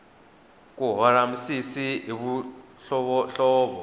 ku hora misisi hi mihlovohlovo